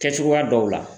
Kɛ cogoya dɔw la